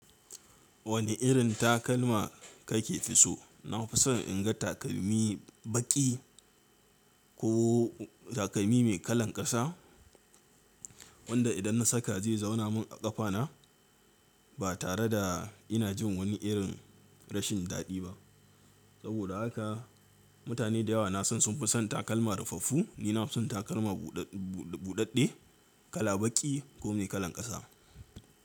Wane irin takalma kake fi so? Na fi son in ga takalmi baƙi ko takalmi mai kalan ƙasa wanda idan na saka zai zauna min a ƙafana ba tare da ina jin wani irin rashin daɗi ba. Saboda haka mutane da yawa na son sun fi son takalma rufaffu ni na fi son takalma buɗaɗɗe kala baƙi ko mai kalan ƙasa.